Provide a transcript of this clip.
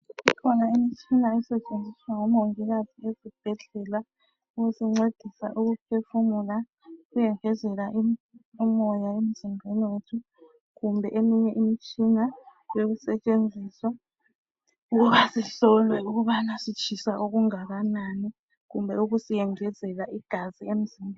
Kukhona imitshina esetshenziswa ngomongikazi ezibhedlela. Ukusincedisa ukuphefumula, ukusingezela umoya emzimbeni wethu, Kumbe eminye imitshina, yokusetshenziswa, ukuba sihlolwe ukuthi sitshisa okungakanani. Kumbe ukusiyengezela igazi emzimbeni.